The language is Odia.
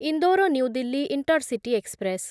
Indore new Delhi intercity express